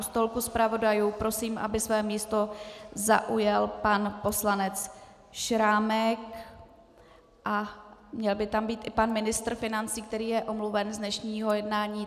U stolku zpravodajů prosím, aby své místo zaujal pan poslanec Šrámek, a měl by tam být i pan ministr financí, který je omluven z dnešního jednání.